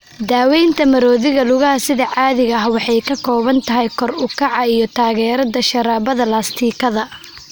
Daawaynta maroodiga lugaha sida caadiga ah waxay ka kooban tahay kor u kaca iyo taageerada sharabaadada laastikada.